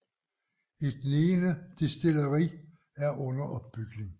Et niende destilleri er under opbygning